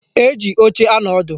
Eji oche anọ ọdụ